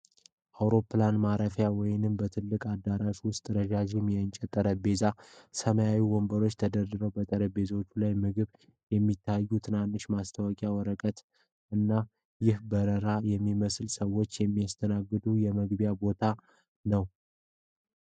በአውሮፕላን ማረፊያ ወይም በትልቅ አዳራሽ ውስጥ ረዣዥም የእንጨት ጠረጴዛዎችና ሰማያዊ ወንበሮች ተደርድረዋል። በጠረጴዛዎቹ ላይ ምግቦች የሚታዩባቸው ትናንሽ የማስታወቂያ ወረቀቶች አሉ። ይህ በረራ የሚጠብቁ ሰዎችን የሚያስተናግድ የመመገቢያ ቦታ ነው?